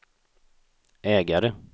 ägare